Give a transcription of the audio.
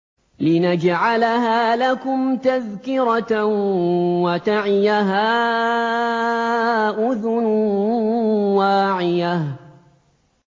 لِنَجْعَلَهَا لَكُمْ تَذْكِرَةً وَتَعِيَهَا أُذُنٌ وَاعِيَةٌ